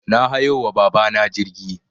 Na hayo wa baba na jirgi